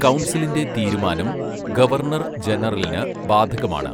കൗൺസിലിന്റെ തീരുമാനം ഗവർണർ ജനറലിന് ബാധകമാണ്.